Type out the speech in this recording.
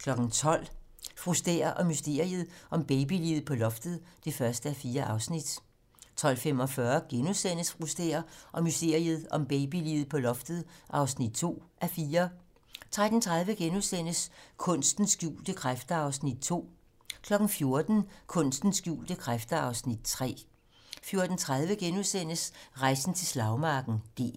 12:00: Fru Stæhr og mysteriet om babyliget på loftet (1:4) 12:45: Fru Stæhr og mysteriet om babyliget på loftet (2:4)* 13:30: Kunstens skjulte kræfter (Afs. 2)* 14:00: Kunstens skjulte kræfter (Afs. 3) 14:30: Rejsen til slagmarken: D-dag *